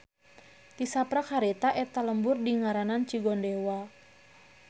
Tisaprak harita eta lembur dingaranan Cigondewa.